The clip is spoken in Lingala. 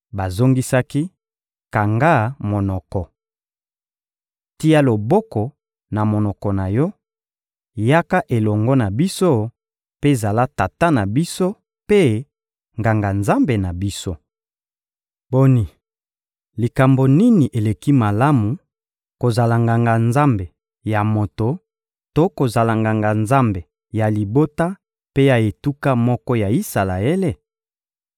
Bazongisaki: — Kanga monoko! Tia loboko na monoko na yo, yaka elongo na biso mpe zala tata na biso mpe nganga-nzambe na biso. Boni, likambo nini eleki malamu: kozala nganga-nzambe ya moto to kozala nganga-nzambe ya libota mpe ya etuka moko ya Isalaele?